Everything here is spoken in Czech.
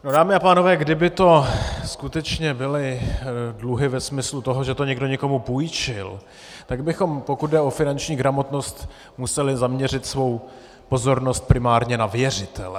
Dámy a pánové, kdyby to skutečně byly dluhy ve smyslu toho, že to někdy někomu půjčil, tak bychom, pokud jde o finanční gramotnost, museli zaměřit svou pozornost primárně na věřitele.